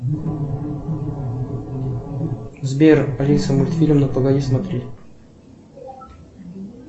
сбер алиса мультфильм ну погоди смотреть